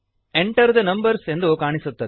Enter the numbers ಎಂದು ಕಾಣಿಸುತ್ತದೆ